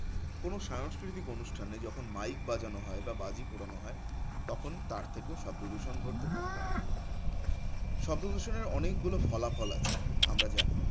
কোনো সাংস্কৃতিক অনুষ্ঠানে যখন mike বাজানো হয় বা বাজি পোড়ানো হয় তখন তার থেকেও শব্দদূষণ ঘটতে থাকে পারে। শব্দদূষণের অনেকগুলো ফলাফল আছে আমরা জানি